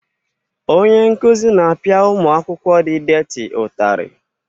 Onye nkuzi na-apịa ụmụ akwụ-kwọ di détị ụtarị